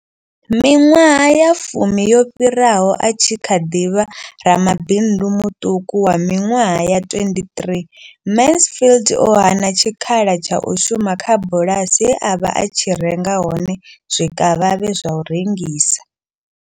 Miṅwaha ya fumi yo fhiraho, a tshi kha ḓi vha ramabindu muṱuku wa miṅwaha ya 23, Mansfield o hana tshikhala tsha u shuma kha bulasi ye a vha a tshi renga hone zwikavhavhe zwa u rengisa.